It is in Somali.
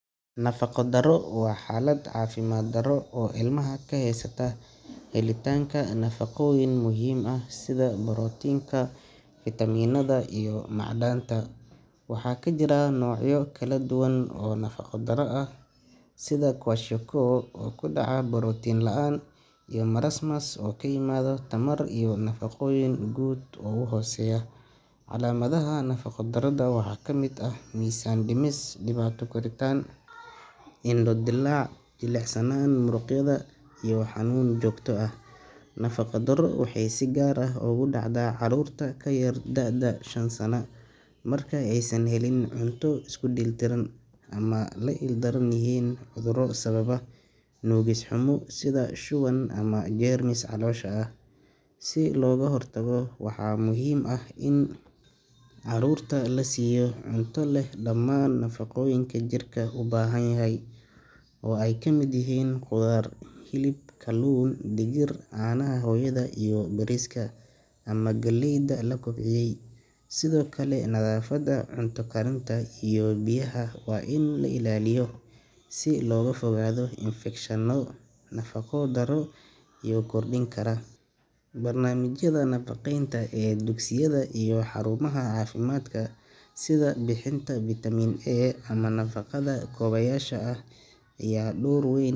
Nafaqo darro waa xaalad caafimaad darro oo ilmaha ka haysata helitaanka nafaqooyin muhiim ah sida borotiinka, fiitamiinada iyo macdanta. Waxaa jira noocyo kala duwan oo nafaqo darro ah, sida kwashiorkor oo ka dhasha borotiin la'aan, iyo marasmus oo ka yimaada tamar iyo nafaqooyin guud oo hooseeya. Calaamadaha nafaqo darrada waxaa ka mid ah miisaan dhimis, dhibaato koritaan, indho dilaac, jilicsanaan muruqyada ah iyo xanuun joogto ah. Nafaqo darro waxay si gaar ah ugu dhacdaa caruurta ka yar da’da shan sano marka aysan helin cunto isku dheelitiran ama ay la ildaran yihiin cudurro sababa nuugis xumo sida shuban ama jeermis caloosha ah. Si looga hortago, waxaa muhiim ah in caruurta la siiyo cunto leh dhammaan nafaqooyinka jirka u baahan yahay, oo ay ka mid yihiin khudaar, hilib, kalluun, digir, caanaha hooyada iyo bariiska ama galleyda la kobciyay. Sidoo kale, nadaafadda cunto karinta iyo biyaha waa in la ilaaliyo si looga fogaado infekshanno nafaqo darrada sii kordhin kara. Barnaamijyada nafaqeynta ee dugsiyada iyo xarumaha caafimaadka sida bixinta vitamin A ama nafaqada kaabayaasha ah ayaa door weyn.